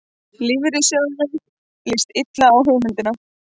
Lífeyrissjóðunum líst illa á hugmyndina